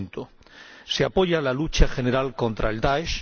5. Se apoya la lucha general contra el Daesh.